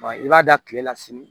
i b'a da tile la sini